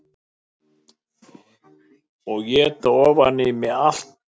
Og éta ofan í mig allt sem ég var búin að segja við hana.